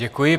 Děkuji.